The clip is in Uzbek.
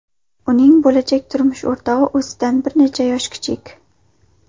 Uning bo‘lajak turmush o‘rtog‘i o‘zidan bir necha yosh kichik.